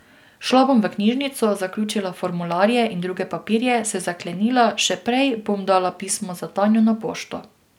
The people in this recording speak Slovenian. Šla bom v knjižnico, zaključila formularje in druge papirje, se zaklenila, še prej bom dala pismo za Tanjo na pošto.